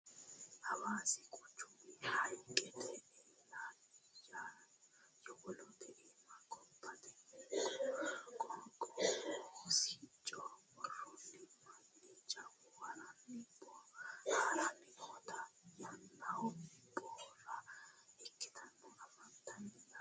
hawaasi quchumi hayiiqete eela yowolote iima gobbatenna qoqqowu sicco worreenna mannu jawu haranni booharanni nootanna yannano barra ikkitinota anfannite yaate